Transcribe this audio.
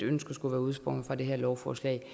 ønsket skulle være udsprunget af det her lovforslag